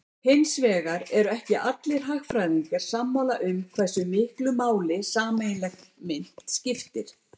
Hins vegar eru ekki allir hagfræðingar sammála um hversu miklu máli sameiginleg mynt skipti.